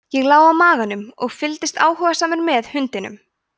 ég lá á maganum og fylgdist áhugasamur með hundinum